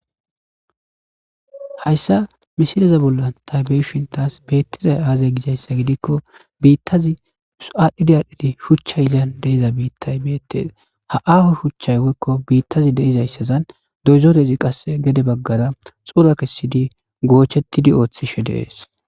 Hayssa misileze bolla taybeshintaas beettizay aazay gizayssa gidikko biittazi aadhdhidiadhdhidi shuchchay izan deiza biittay beettes ha aho shuchchay woykko biittazi deizayssazan doyzorezi qasse gede baggara xura kessidi goochettidi ooththishe deees